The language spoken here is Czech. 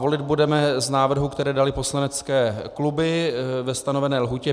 Volit budeme z návrhů, které daly poslanecké kluby ve stanovené lhůtě.